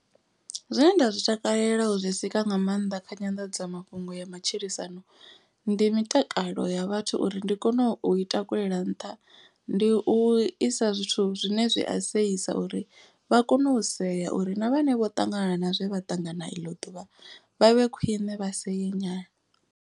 Zwine nda zwi takalela u zwi sika nga maanḓa kha nyanḓadzamafhungo ya matshilisano. Ndi mitakalo ya vhathu uri ndi kone u i takulela nṱha ndi u isa zwithu zwine zwi a seisa. Uri vha kone u sea uri na vhane vho ṱangana na zwe vha ṱangana iḽo ḓuvha vha vhe khwine vha see nyana.